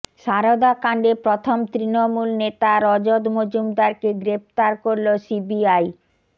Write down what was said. সারদা কাণ্ডে প্রথম তৃণমূল নেতা রজত মজুমদারকে গ্রেফতার করল সিবিআই